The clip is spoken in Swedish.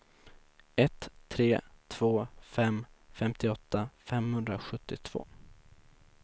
ett tre två fem femtioåtta femhundrasjuttiotvå